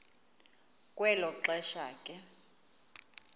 kwelo xesha ke